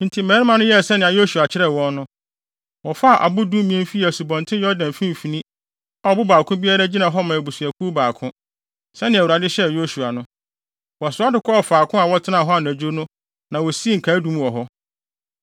Enti, mmarima no yɛɛ sɛnea Yosua kyerɛɛ wɔn no. Wɔfaa abo dumien fii Asubɔnten Yordan mfimfini a ɔbo baako biara gyina hɔ ma abusuakuw baako, sɛnea Awurade hyɛɛ Yosua no. Wɔsoa de kɔɔ faako a wɔtenaa hɔ anadwo no na wosii nkaedum wɔ hɔ.